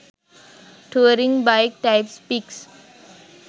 touring bike types pics